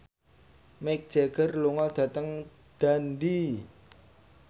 Mick Jagger lunga dhateng Dundee